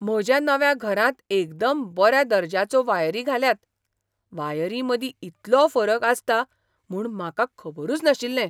म्हज्या नव्या घरांत एकदम बऱ्या दर्ज्याचो वायरी घाल्यात. वायरीं मदीं इतलो फरक आसता म्हूण म्हाका खबरूच नाशिल्लें!